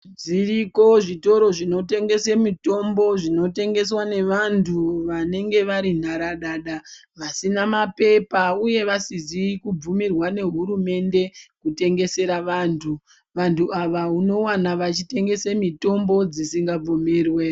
Zviriko zvitoro zvinotengese mitombo, zvinotengeswa nevanthu vanenge vari nharadada vasina mapepa uye vasingazi kubvimirwa ngehurumende kutengesera vanthu. Vanthu ava unowana vachitengesa mitombo dzisi ngabvumirwe.